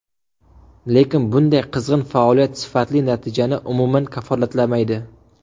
Lekin bunday qizg‘in faoliyat sifatli natijani umuman kafolatlamaydi.